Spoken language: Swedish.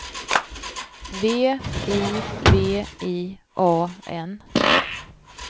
V I V I A N